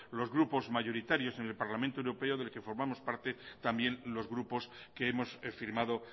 los grupos mayoritarios en el parlamento europeo del que formamos parte también los grupos que hemos firmado